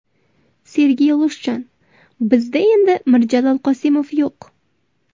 Sergey Lushchan: Bizda endi Mirjalol Qosimov yo‘q.